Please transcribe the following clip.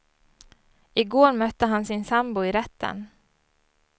I går mötte han sin sambo i rätten.